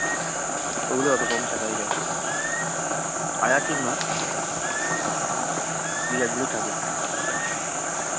ওগুলোয় অত কম salary দেয় আয়া ঠিক নয় এই কাজ গুলোই থাকে